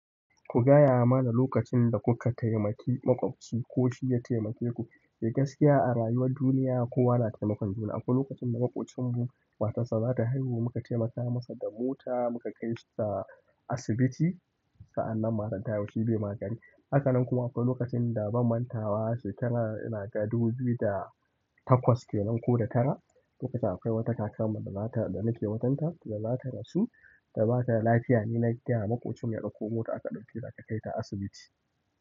Ku gaya mana lokacin da ku ka taimaki maƙwabci ko shi ya taimake ku eh gaskiya a rayuwar duniya kowa na taimakon juna akwai lokacin da maƙocin mu matar sa za ta haihu mu ka taimaka masa da mota mu ka kaita asibiti sa'annan matar ta haihushi be ma gari. Haka nan kuma akwai lokacin da ban mantawa shekara ina ga dubu biyu da takwas kenan ko da tara, lokacin akwai wata kakar mu da nake wajen ta da za ta rasu da ba ta lafiya. Ni na kira maƙocin ya ɗauko mota aka ɗauke ta aka kai ta asibiti.